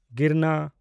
ᱜᱤᱨᱱᱟ